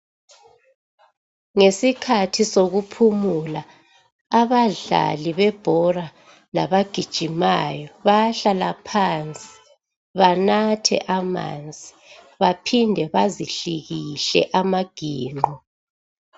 Ngesikhathi sokuphumula, abadlali bebhola labagijimayo, bayahlala phansi banathe amanzi baphinde bazihlikihle amaginqo.